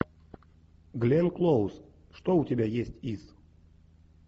гленн клоуз что у тебя есть из